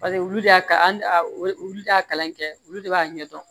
Paseke olu de y'a olu de y'a kalan kɛ olu de b'a ɲɛ dɔn